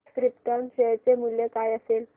krypton share चे मूल्य काय असेल